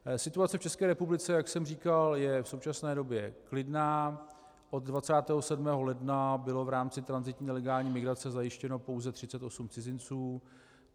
Situace v České republice, jak jsem říkal, je v současné době klidná, od 27. ledna bylo v rámci tranzitní nelegální migrace zajištěno pouze 38 cizinců.